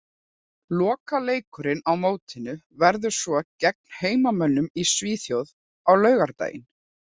Lokaleikurinn á mótinu verður svo gegn heimamönnum í Svíþjóð á laugardaginn.